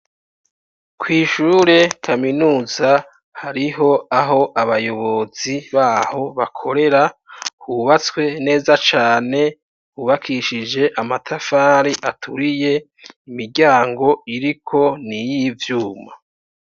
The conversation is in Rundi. Kw' ishure kaminuza, hariho aho abayobozi baho bakorera, yubatswe neza cane, hubakishije amatafari aturiye, imiryango iriko n' iyivyuma.